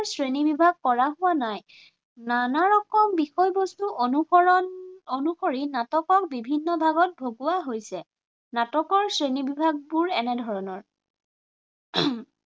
শ্ৰেণী বিভাগ কৰা হোৱা নাই। নানাৰকম বিষয়বস্তু অনুসৰণ অনুসৰি নাটকক বিভিন্ন ভাগত ভগোৱা হৈছে। নাটকৰ শ্ৰেণী বিভাগবোৰ এনে ধৰণৰ